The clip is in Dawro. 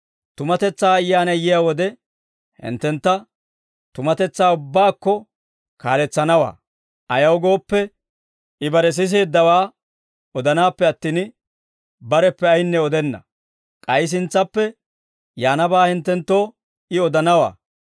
Tumatetsaa Ayyaanay yiyaa wode, hinttentta tumatetsaa ubbaakko kaalletsanawaa. Ayaw gooppe, I bare siseeddawaa odanaappe attin, bareppe ayinne odenna. K'ay sintsappe yaanabaa hinttenttoo I odanawaa.